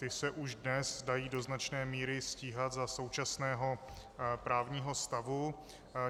Ty se už dnes dají do značné míry stíhat za současného právního stavu.